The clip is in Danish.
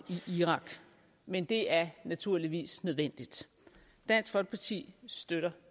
irak men det er naturligvis nødvendigt dansk folkeparti støtter